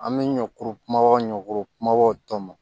An bɛ ɲɔkuru kumabaw ɲɔkuru kumabaw tɔn